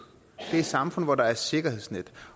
det er samfund hvor der er sikkerhedsnet